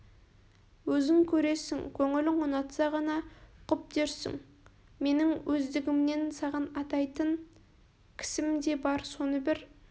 өзің көресің көңілің ұнатса ғана құп дерсің менің өздігімнен саған атайтын кісім де бар соны бір